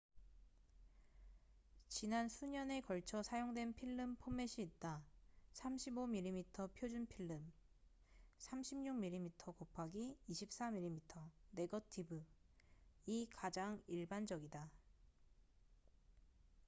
지난 수 년에 걸쳐 사용된 필름 포맷이 있다. 35mm 표준 필름36mm*24mm 네거티브이 가장 일반적이다